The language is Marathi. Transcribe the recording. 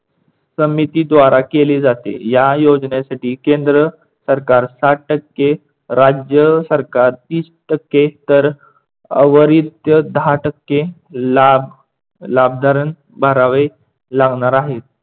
समितीद्वारा केली जाते. या योजनेसाठी केंद्र सरकार साठ टक्के, राज्य सरकार तीस टक्के, तर अविरत दहा टक्के लाभ लाभदारण भरावे लावणार आहेत.